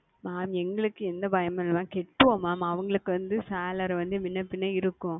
Mam எங்களுக்கு வந்து எந்த பயமும் இல்லை Mam செலுத்துவோம் Mam அவங்களுக்கு வந்து Salary வந்து முன்ன பின்ன இருக்கும்